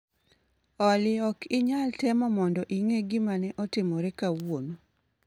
Olly ok inyal temo mondo ing'e gima ne otimore kawuono